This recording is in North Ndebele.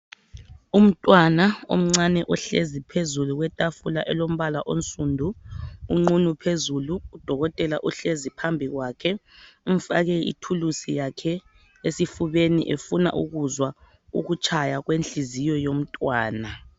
Umntwana omncane ohlezi phezulu kwetafula elombala onsundu unqunu phezulu udokotela uhlezi phambi kwakhe umfake ithulusi yakhe esifubeni efuna ukuzwa ukutshaya kwenhliziyo yomntwana.